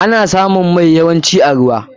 Ana yawancin samun mai a ruwa.